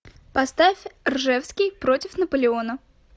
поставь ржевский против наполеона